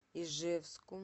ижевску